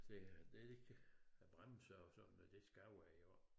Så det vigtig at bremser og sådan noget det skal jo være i orden